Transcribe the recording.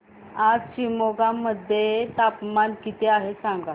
आज शिमोगा मध्ये तापमान किती आहे सांगा